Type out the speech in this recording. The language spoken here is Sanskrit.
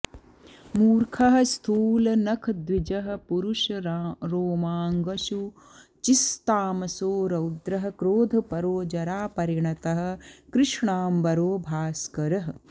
मूर्खः स्थूलनखद्विजः परुषरोमाङ्गोऽशुचिस्तामसो रौद्रः क्रोधपरो जरापरिणतः कृष्णाम्बरो भास्करिः